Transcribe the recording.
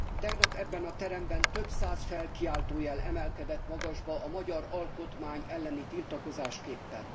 Tegnap ebben a teremben több száz felkiáltójel emelkedett magasba a magyar alkotmány elleni tiltakozásképpen.